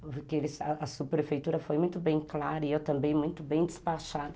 porque a subprefeitura foi muito bem clara e eu também muito bem despachada.